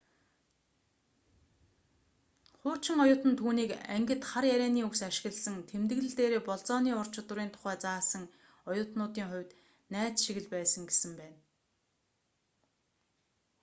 хуучин оюутан түүнийг ангид хар ярианы үгс ашигласан тэмдэглэл дээрээ болзооны ур чадварын тухай заасан оюутнуудын хувьд найз шиг л байсан гэсэн байна